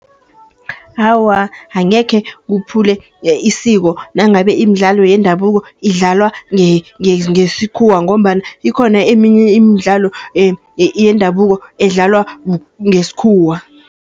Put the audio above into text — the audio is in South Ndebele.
Awa angekhe kuphule isiko, nangabe imidlalo yendabuko idlalwa ngesikhuwa, ngombana ikhona eminye imidlalo yendabuko edlalwa ngesikhuwa.